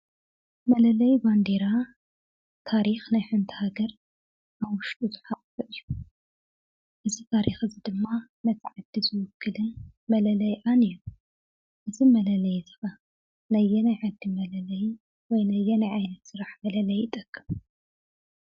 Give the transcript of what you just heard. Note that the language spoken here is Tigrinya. መለለይ ባንዴራ ታሪክ ናይ ሓንቲ ሃገር ኣብ ውሽጡ ዝሓቆፈ እዩ። እዚ ታሪክ ድማ ነቲ ዓዲ ዝውክልን መለለይኣን እዩ። እዚ መለለይ እዚ እባ ናይ ኣየናይ ዓዲ መለለይ ወይ ነየናይ ዓይነት ስራሕ መለለዪ ይጠቅም?